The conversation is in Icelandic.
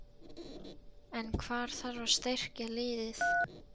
En hvar þarf að styrkja liðið?